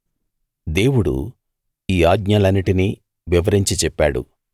దేవుడు ఈ ఆజ్ఞలన్నిటినీ వివరించి చెప్పాడు